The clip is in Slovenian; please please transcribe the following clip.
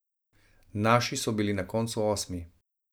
Naši so bili na koncu osmi.